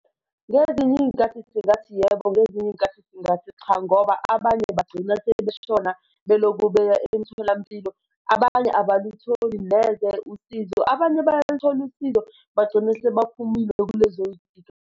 Ngezinye iy'nkathi sengathi yebo, ngezinye iy'nkathi singathi cha, ngoba abanye bagcina sebeshona beloku beya emtholampilo, abanye abalutholi neze usizo, abanye bayalithola usizo bagcine sebaphumile kulezoy'nkinga.